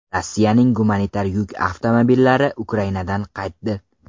Rossiyaning gumanitar yuk avtomobillari Ukrainadan qaytdi.